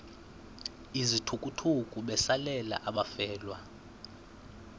izithukuthuku besalela abafelwa